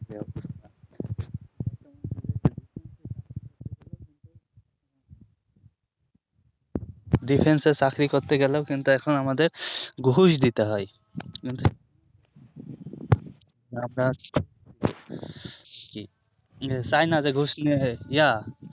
diffence এ চাকরি করতে গেলেও কিন্তু এখন আমাদের ঘুষ দিতে হয় আপনার কি চায়না যে ঘুষ নেয় ইয়া